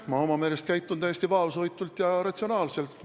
Ma oma meelest käitun täiesti vaoshoitult ja ratsionaalselt.